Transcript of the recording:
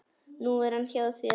Nú er hann hjá þér.